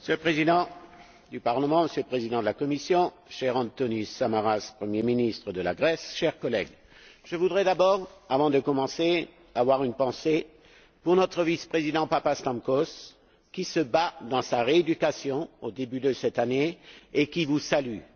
Monsieur le Président, Monsieur le Président de la Commission, cher Antonis Samaras, premier ministre de la Grèce, chers collègues, je voudrais d'abord, avant de commencer, avoir une pensée pour notre vice président Papastamkos, qui se bat dans sa rééducation au début de cette année et qui vous salue.